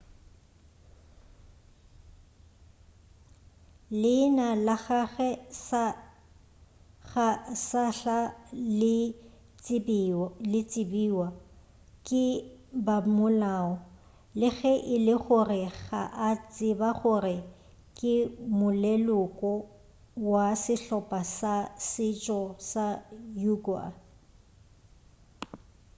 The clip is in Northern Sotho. leina la gagwe ga sahla le tsebewa ke bamolao le ge e le gore ba a tseba gore ke moleloko wa sehlopa sa setšo sa uighur